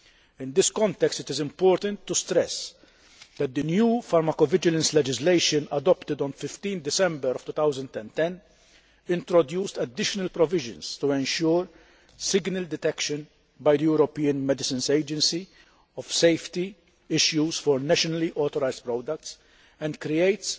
In this context, it is important to stress that the new pharmacovigilance legislation adopted on 15 December 2010 introduced additional provisions to ensure signal detection by the European Medicines Agency of safety issues for nationally authorised products and creates